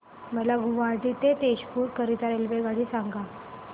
मला गुवाहाटी ते तेजपुर करीता रेल्वेगाडी सांगा